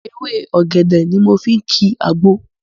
Ewé ọ̀gẹ̀dẹ̀ ni mo fi ń kìí àgbo